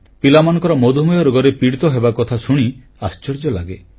ପିଲାମାନଙ୍କର ମଧୁମେହ ରୋଗରେ ପୀଡ଼ିତ ହେବାକଥା ଶୁଣି ଆଶ୍ଚର୍ଯ୍ୟ ଲାଗେ